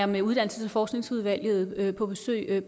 med uddannelses og forskningsudvalget på besøg